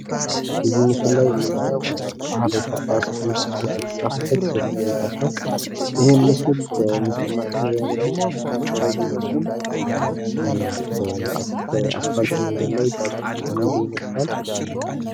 በዚህ ምስል ላይ የምናየው ሀበሻ ባስ የሚል ጽሑፍ የተጻፈበት ዘመናዊ ባስ ነው። ይህም ምስል በምስል ማቀነባበሪያ የተቀናበረ ቢመስልም አስፋልት መንገድ ላይ ባሱ እየሄደ ይመስላል።